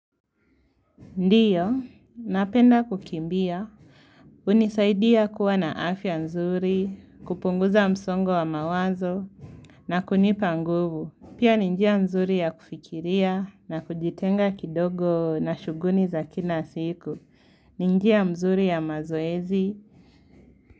Ndiyo, napenda kukimbia. Hunisaidia kuwa na afya nzuri, kupunguza msongo wa mawazo na kunipa nguvu. Pia ni njia nzuri ya kufikiria na kujitenga kidogo na shughuni za kina siku. Ni njia mzuri ya mazoezi.